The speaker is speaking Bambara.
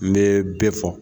N bɛ bɛɛ fɔ.